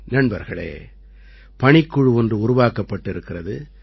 நண்பர்களே பணிக்குழு ஒன்று உருவாக்கப்பட்டிருக்கிறது